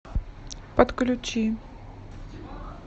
подключи